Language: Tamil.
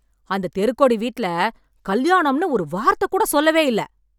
அந்த தெருக்கோடி வீட்ல, கல்யாணம்னு ஒரு வார்த்தை கூட சொல்லவே இல்ல...